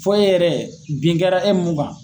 Fo e yɛrɛ bin kɛra e mun kan.